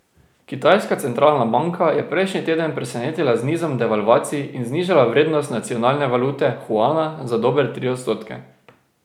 Kitajska centralna banka je prejšnji teden presenetila z nizom devalvacij in znižala vrednost nacionalne valute, juana, za dobre tri odstotke.